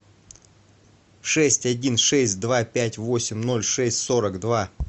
шесть один шесть два пять восемь ноль шесть сорок два